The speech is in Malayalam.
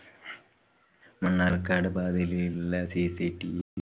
മണ്ണാര്‍ക്കാട് പാതയിലുള്ള cctv